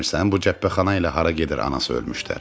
Bu cəbhəxana ilə hara gedir anası ölmüşlər?